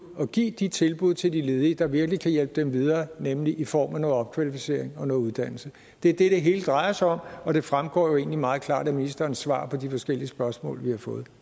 og give de tilbud til de ledige der virkelig kan hjælpe dem videre nemlig i form af noget opkvalificering og noget uddannelse det er det det hele drejer sig om og det fremgår jo egentlig meget klart af ministerens svar på de forskellige spørgsmål vi har fået